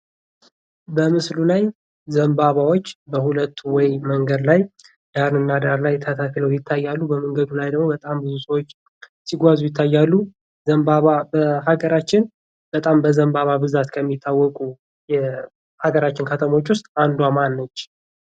ዘንባባዎች በሁለት ወይ መንገድ ላይ ዳን እና የታታክሎ ይታያሉ በመንገዱ ላይ በጣም ብዙ ሰዎች ሲጓዙ ይታያሉ ዘንባባ ሀገራችን በጣም በዘንባባ ብዛት ከሚታወቁ የአገራችን ከተሞች ውስጥ 1ዷ ማነች